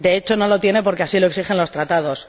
De hecho, no lo tiene porque así lo exigen los Tratados.